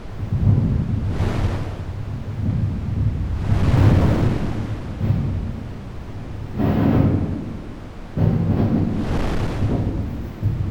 Intumiya olchani oji sodium hypochlorite